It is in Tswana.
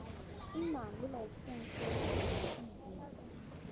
nna le laesense ya tv